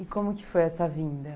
E como que foi essa vinda?